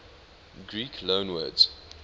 greek loanwords